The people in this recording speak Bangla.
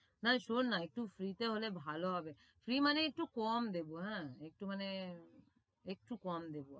নারে শোন না একটু free তে হলে ভালো হবে free মানে একটু কম দেবো আহ একটু মানে একটু কম দেবো।